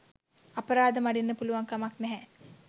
අපරාධ මඩින්න පුළුවන් කමක් නෑ.